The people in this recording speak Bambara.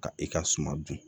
Ka i ka suma dun